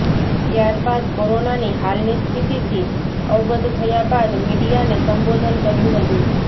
ત્યારબાદ કોરોનાની હાલની સ્થિતિથી અવગત થયા બાદ મીડિયાને સંબોધન કર્યું હતું